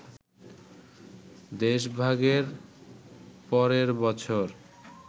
দেশভাগের পরের বছর